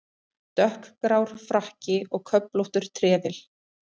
Dökkgrár frakki og köflóttur trefill.